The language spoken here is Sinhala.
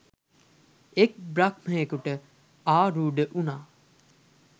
එක් බ්‍රහ්මයෙකුට ආරූඪ වුණා.